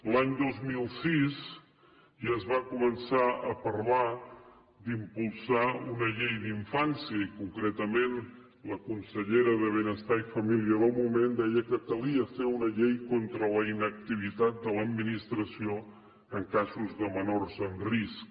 l’any dos mil sis ja es va començar a parlar d’impulsar una llei d’infància i concretament la consellera de benestar i família del moment deia que calia fer una llei contra la inactivitat de l’administració en casos de menors en risc